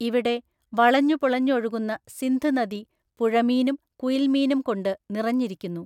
ഇവിടെ വളഞ്ഞുപുളഞ്ഞ് ഒഴുകുന്ന സിന്ധ് നദി പുഴമീനും കുയില്‍മീനും കൊണ്ട് നിറഞ്ഞിരിക്കുന്നു.